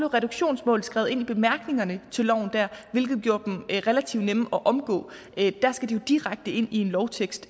reduktionsmål skrevet ind i bemærkningerne til loven hvilke gjorde dem relativt nemme at omgå der skal de jo direkte ind i en lovtekst